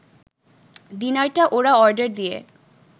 ডিনারটা ওরা অর্ডার দিয়ে